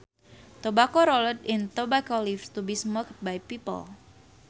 Tobacco rolled in tobacco leaves to be smoked by people